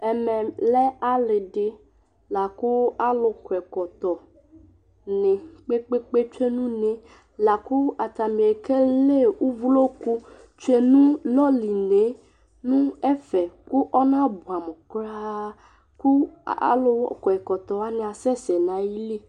Ɛmɛlɛ aliɖɩla ƙʊ aluƙɔ ɛƙɔtɔŋɩ kpeékpé tsoé ŋʊ uné Lakʊ atanɩ éƙélé ʊvlokʊ tsoé ŋʊ lɔliné ŋʊ ɛƒɛ, ƙɔŋaɓʊɛmʊ ƙroa Ƙʊ alʊkɔ ɛƙɔtɔwanɩ asɛsɛ ŋayɩlɩ